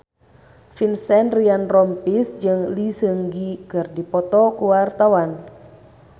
Vincent Ryan Rompies jeung Lee Seung Gi keur dipoto ku wartawan